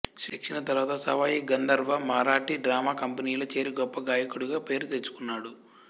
శిక్షణ తర్వాత సవాయి గంధర్వ మరాఠీ డ్రామా కంపనీలో చేరి గొప్ప గాయకుడుగా పేరు తెచ్చుకొన్నాడు